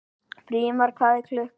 Brimar, hvað er klukkan?